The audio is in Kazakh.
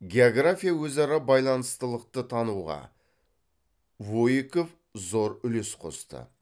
география өзара байланыстылықты тануға воейков зор үлес қосты